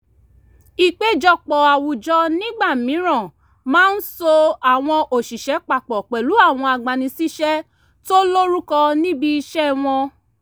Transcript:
ìpéjọpọ̀ àwùjọ nígbà mìíràn màa ń so àwọn òṣìṣẹ́ papọ̀ pẹ̀lú àwọn agbani síṣẹ́ tó lórúkọ níbi iṣẹ́ wọn